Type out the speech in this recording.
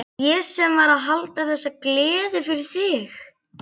Ég sem var að halda þessa gleði fyrir þig!